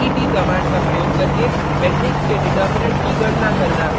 det command का प्रयोग करके मेट्रिक्स के डिटर्मिनेन्ट की गणना करना